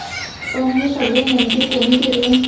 पण हे सगळे नेमके कोणी केले?